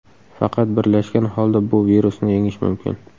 Faqat birlashgan holda bu virusni yengish mumkin.